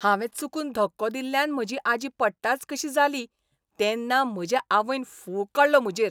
हांवें चुकून धक्को दिल्ल्यान म्हजी आजी पडटाच कशी जाली तेन्ना म्हजे आवयन फोग काडलो म्हजेर.